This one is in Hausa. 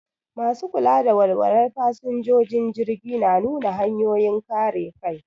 Masu kula da walwalar fasinjojin jirgi na nunin hanyoyin kare kai.